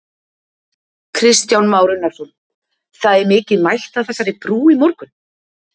Kristján Már Unnarsson: Það er mikið mætt að þessari brú í morgun?